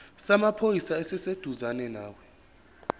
samaphoyisa esiseduzane nawe